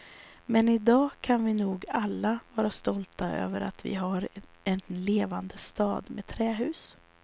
Men idag kan vi nog alla vara stolta över att vi har en levande stad med trähus.